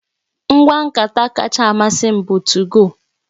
Ngwa nkata kacha amasị m bụ 2go